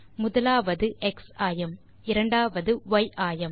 முதலாவது எக்ஸ் ஆயம் இரண்டாவது ய் ஆயம்